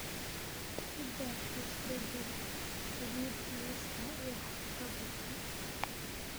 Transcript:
ku dar isbeddel saliid liiska wax-qabadka